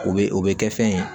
U bɛ o bɛ kɛ fɛn ye